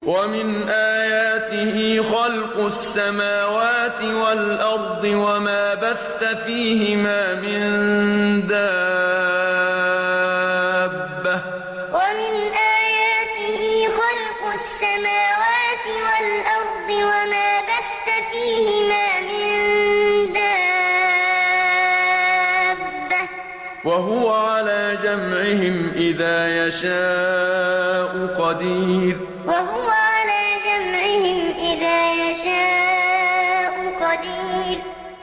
وَمِنْ آيَاتِهِ خَلْقُ السَّمَاوَاتِ وَالْأَرْضِ وَمَا بَثَّ فِيهِمَا مِن دَابَّةٍ ۚ وَهُوَ عَلَىٰ جَمْعِهِمْ إِذَا يَشَاءُ قَدِيرٌ وَمِنْ آيَاتِهِ خَلْقُ السَّمَاوَاتِ وَالْأَرْضِ وَمَا بَثَّ فِيهِمَا مِن دَابَّةٍ ۚ وَهُوَ عَلَىٰ جَمْعِهِمْ إِذَا يَشَاءُ قَدِيرٌ